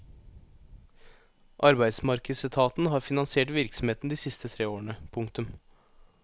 Arbeidsmarkedsetaten har finansiert virksomheten de siste tre årene. punktum